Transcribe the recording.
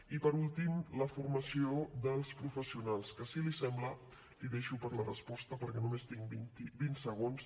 i per últim la formació dels professionals que si li sembla la deixo per a la resposta perquè només tinc vint segons